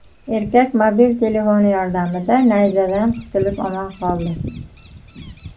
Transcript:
Erkak mobil telefoni yordamida nayzadan qutulib omon qoldi.